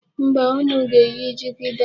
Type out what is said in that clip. Mba, unu ga-eyi jigida.